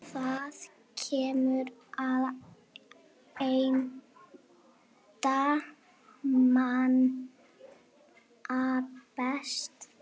Það kunni Edda manna best.